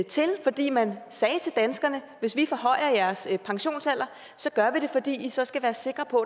til fordi man sagde til danskerne hvis vi forhøjer jeres pensionsalder gør vi det fordi i så skal være sikre på